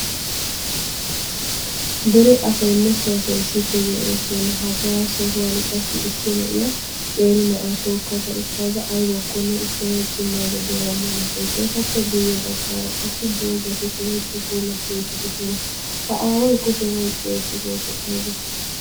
dere asaynne so asay issippe de'oosona. hagaa sohuwan qassi issi na"iya qeeri na"aa tookada utada aybakkone ushanawu cimayda de'awusu, etappe guyeera dozati de'oosona.ha aaway kushiyan oyqqidooge aybee?